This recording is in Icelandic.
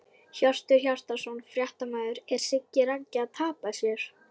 Hjörtur Hjartarson, fréttamaður: Er Siggi Raggi að tapa sér?!